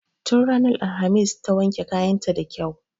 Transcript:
Tun ranar alhamis ta wanke kayan ta da kyau.